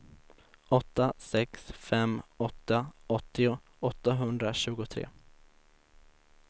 åtta sex fem åtta åttio åttahundratjugotre